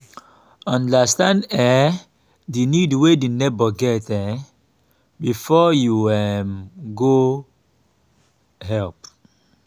understand um di need wey di neighbour get um before you um go help